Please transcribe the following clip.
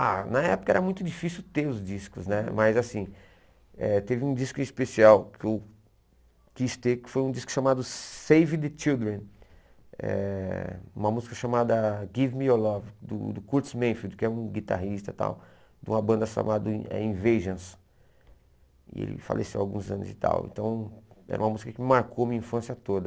Ah, na época era muito difícil ter os discos né, mas assim, eh teve um disco especial que eu quis ter, que foi um disco chamado Save the Children, eh uma música chamada Give Me Your Love, do dol Kurtz Manfield, que é um guitarrista e tal, de uma banda chamada eh Invasions, e ele faleceu há alguns anos e tal, então era uma música que me marcou a minha infância toda.